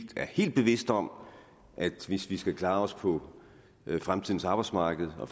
er helt bevidst om at hvis vi skal klare os på fremtidens arbejdsmarked og